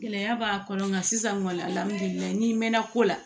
Gɛlɛya b'a kɔnɔ nka sisan ŋɔni alihamudulilayi n'i mɛnna ko la